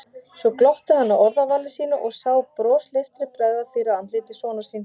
Svo glotti hann að orðavali sínu og sá brosleiftri bregða fyrir á andliti sonar síns.